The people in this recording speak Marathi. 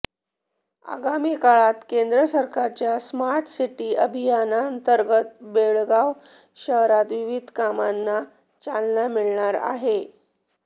आगामी काळात केंद्र सरकारच्या स्मार्ट सिटी अभियानांतर्गत बेळगाव शहरात विविध कामांना चालना मिळणार आहे